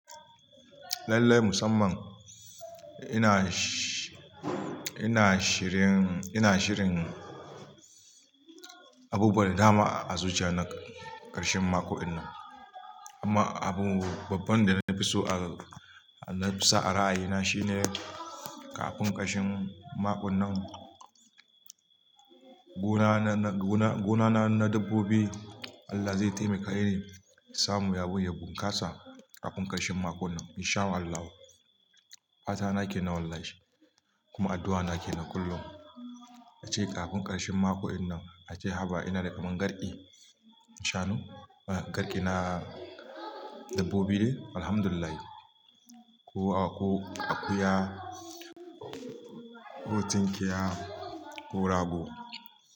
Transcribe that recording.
Lallai musamman ina shi-- ina shirin, ina shirin abubuwa da dama a zuciya na ƙarshen mako in nan. Amma abu babban da na fi so a, na fi so a ra'ayina shine kafin ƙarshen makon nan gona na, na dabbobi Allah zai taimake ni in samu abun ya bunkasa kafin ƙarshen mako nan in shaa Allahu. Fata na kenan wallahi kuma addu'a nake na kullum. Ace kafin ƙarshen mako in nan ace haba ina da kaman garƙi in shaa nu, garƙi na dabbobi ne Alhamdulillah. Ko aku, akuya, ko tunkiya, ko rago.